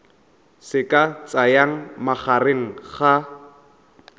se ka tsayang magareng ga